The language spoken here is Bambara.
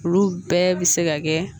Olu bɛɛ bɛ se ka kɛ